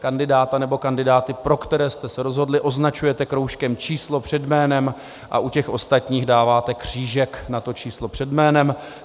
Kandidáta nebo kandidáty, pro které jste se rozhodli, označujete kroužkem číslo před jménem a u těch ostatních dáváte křížek na to číslo před jménem.